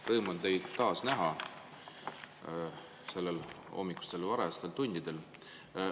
Rõõm on teid taas näha neil hommikustel varajastel tundidel.